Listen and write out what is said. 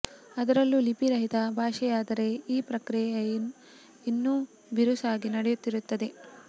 ಅದರಲ್ಲೂ ಲಿಪಿ ರಹಿತ ಭಾಷೆಯಾದರೆ ಈ ಪ್ರಕ್ರಿಯೆಯ ಇನ್ನು ಬಿರುಸಾಗಿ ನಡೆಯುತ್ತಿರುತ್ತದೆ